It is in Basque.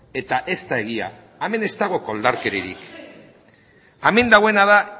eta ez da egia hemen ez dago koldarkeriarik hemen dagoena da